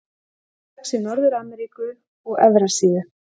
Hún vex í Norður-Ameríku og Evrasíu.